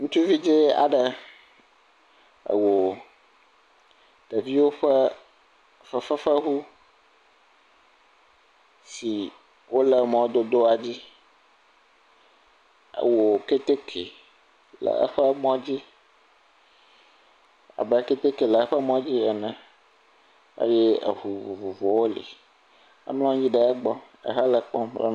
ŋutsuvi dzɛ aɖe ewò ɖeviwo ƒe fefefeʋu si wóle mɔdodoadzi e wò kɛtɛkɛ le eƒe mɔ dzi abe kɛtɛkɛ le eƒe mɔ dzi ene eye eʋu vovovowo li emlɔnyi ɖe egbɔ le ekpɔm